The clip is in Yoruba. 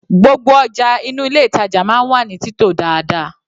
Gbogbo ọjà inú ilé ìtàjà máa ń wà ní títò dáadáa.